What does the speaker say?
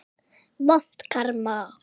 Vont karma.